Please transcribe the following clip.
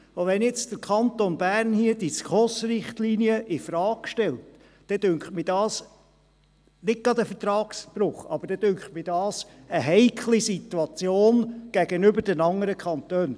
Wenn nun der Kanton Bern die SKOS-Richtlinien infrage stellt, scheint mir dies nicht gerade ein Vertragsbruch, aber es scheint mir eine heikle Situation gegenüber den anderen Kantonen.